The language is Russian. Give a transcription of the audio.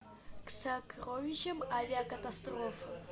к сокровищам авиакатастрофы